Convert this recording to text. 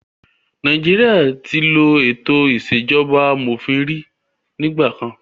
Nàìjíríà tí ló ètò ìṣèjọba amòfin rí nígbà kan.